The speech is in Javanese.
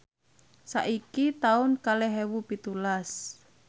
saiki taun kalih ewu pitulas